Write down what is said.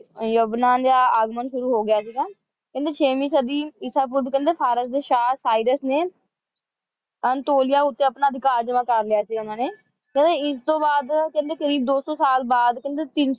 ਯਮਨਾ ਦਾ ਆਗਮਨ ਸ਼ੁਰੂ ਹੋ ਗਿਆ ਸੀਗਾ ਕਹਿੰਦੇ ਛੇਵੀਂ ਸਦੀ ਇਸ ਪੂਰਵ ਕਹਿੰਦੇ ਫਾਰਸ ਦੇ ਸ਼ਾਹ ਉਸਾਇਰਸ ਨੇ ਅੰਤੋਲਿਆ ਉੱਤੇ ਆਪਣਾ ਅਧਿਕਾਰ ਜਮਾ ਕਰ ਲਿਆ ਸੀ ਉਨ੍ਹਾਂ ਨੇ ਤੇ ਇਸਤੋਂ ਬਾਅਦ ਕਰੀਬ ਕੋਈ ਦੋ ਸੌ ਸਾਲ ਬਾਅਦ ਤਿੰਨ ਸੌ